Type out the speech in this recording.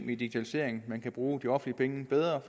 digitalisering man kan bruge de offentlige penge bedre